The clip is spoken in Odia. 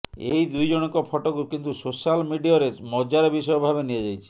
ଏହି ଦୁଇ ଜଣଙ୍କ ଫଟୋକୁ କିନ୍ତୁ ସୋଶାଲ୍ ମିଡିଅରେ ମଜାର ବିଷୟ ଭାବେ ନିଆଯାଇଛି